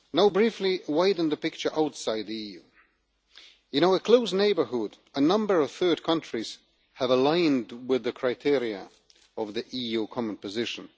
Briefly widening the picture outside the EU, in our close neighbourhood a number of third countries have aligned with the criteria of the EU common position.